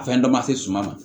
A fɛn dɔ ma se suma ma